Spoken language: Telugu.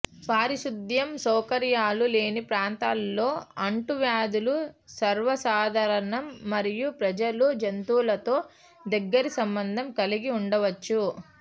పారిశుధ్యం సౌకర్యాలు లేని ప్రాంతాలలో అంటువ్యాధులు సర్వసాధారణం మరియు ప్రజలు జంతువులతో దగ్గరి సంబంధం కలిగి ఉండవచ్చు